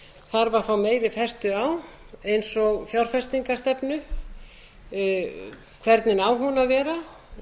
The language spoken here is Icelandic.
þarf að fá meiri festu á eins og fjárfestingarstefnu hvernig á hún að vera